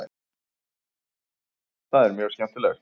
Það er mjög skemmtilegt.